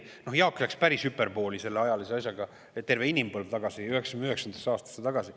Noh, Jaak läks päris hüperboolseks selle ajalise asjaga, läks terve inimpõlve tagasi, 1999. aastasse.